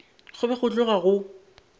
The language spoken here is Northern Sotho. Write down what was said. go be go tloga go